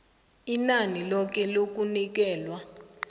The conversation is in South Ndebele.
inani loke lokunikelwa